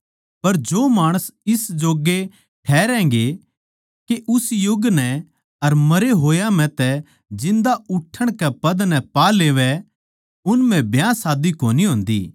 पर जो माणस इस जोग्गे ठहरैगें के उस युग नै अर मरे होया म्ह तै जिन्दा उठ्ठणके पद नै पा लेवै उन म्ह ब्याह शादी कोनी होन्दी